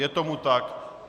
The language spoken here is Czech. Je tomu tak.